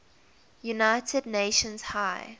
united nations high